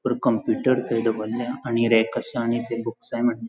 पर कंप्युटर थंय दवरल्या आणी रॅक आसा आणि ते बुक्स --